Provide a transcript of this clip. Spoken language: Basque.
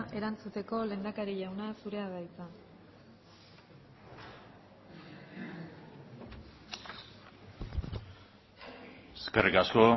erantzuteko lehendakari jauna zurea da hitza eskerrik asko